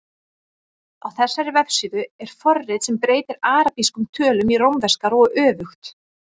Á þessari vefsíðu er forrit sem breytir arabískum tölum í rómverskar og öfugt.